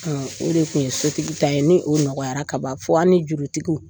o de kun ye sotigi ta ye, ni o nɔgɔyara kaban fo an' ni jurutigiw